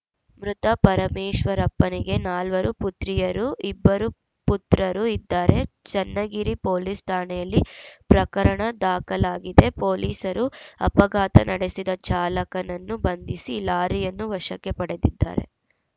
ಮೃತ ಪರಮೇಶ್ವರಪ್ಪನಿಗೆ ನಾಲ್ವರು ಪುತ್ರಿಯರು ಇಬ್ಬರು ಪುತ್ರರು ಇದ್ದಾರೆ ಚನ್ನಗಿರಿ ಪೊಲೀಸ್‌ ಠಾಣೆಯಲ್ಲಿ ಪ್ರಕರಣ ದಾಖಲಾಗಿದೆ ಪೊಲೀಸರು ಅಪಘಾತ ನಡೆಸಿದ ಚಾಲಕನನ್ನು ಬಂಧಿಸಿ ಲಾರಿಯನ್ನು ವಶಕ್ಕೆ ಪಡೆದಿದ್ದಾರೆ